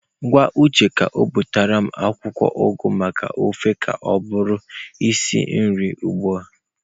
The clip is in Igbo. Gwa uche ka butere m akwụkwọ ugu maka ofe ka ọ bụrụ isi nri ugbu a.